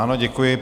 Ano, děkuji.